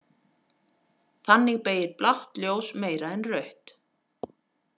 Þannig beygir blátt ljós meira en rautt.